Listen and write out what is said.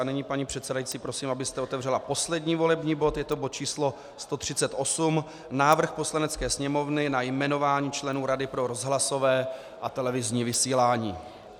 A nyní, paní předsedající, prosím, abyste otevřela poslední volební bod, je to bod číslo 138, Návrh Poslanecké sněmovny na jmenování členů Rady pro rozhlasové a televizní vysílání.